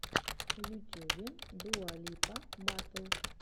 в ютюбе дуа липа батл